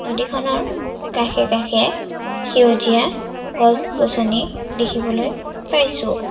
নদীখনৰ কাষে-কাষে সেউজীয়া গছ-গছনি দেখিবলৈ পাইছোঁ।